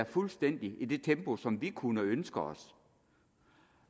fuldstændig i det tempo som vi kunne ønske os